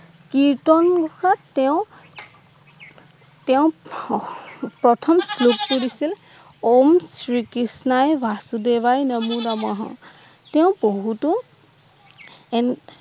কীর্তন ঘোষাত তেওঁ তেওঁ প্রথম শ্লোক পঢ়িছিল ওমঃ শ্রী কৃষ্ণই বাসুদেবায় নামঃ নামায়ঃ তেওঁ বহুতো এনে